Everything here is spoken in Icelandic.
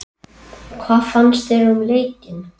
Hvað fannst þér um leikinn?